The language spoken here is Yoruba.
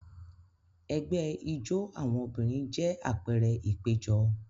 Ẹgbẹ́ ijó àwọn obìnrin jẹ́ àpẹẹrẹ ìpéjọ.